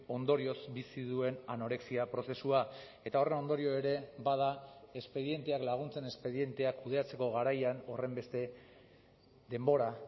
ondorioz bizi duen anorexia prozesua eta horren ondorio ere bada espedienteak laguntzen espedienteak kudeatzeko garaian horrenbeste denbora